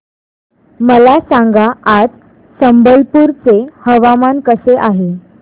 मला सांगा आज संबलपुर चे हवामान कसे आहे